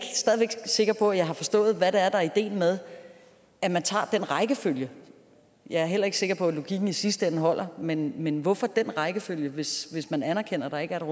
sikker på at jeg har forstået hvad det er der er ideen med at man tager det rækkefølge jeg er heller ikke sikker på at logikken i sidste ende holder men men hvorfor den rækkefølge hvis man anerkender at der ikke